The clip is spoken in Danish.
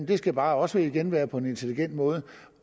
det skal bare også igen være på en intelligent måde